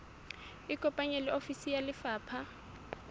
ikopanye le ofisi ya lefapha